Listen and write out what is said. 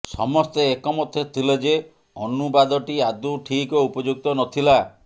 ସମସ୍ତେ ଏକମତ ଥିଲେ ଯେ ଅନୁବାଦଟି ଆଦୌ ଠିକ ଓ ଉପଯୁକ୍ତ ନ ଥିଲା